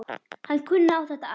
Hann kunni á þetta allt.